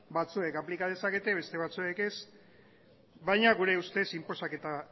batzuek aplika dezakete beste batzuek ez baina gure ustez inposaketa